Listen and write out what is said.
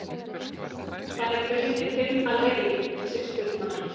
Þær muni finna leið, systurnar.